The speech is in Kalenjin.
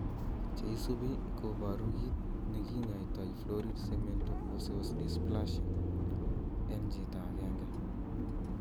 Che isupi koporu kit ne kinyaito florid cemento osseous dysplasia. En chito agenge.